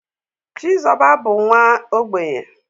Chizoba bu nwa ogbenye